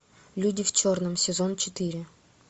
люди в черном сезон четыре